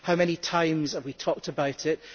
How many times have we talked about it?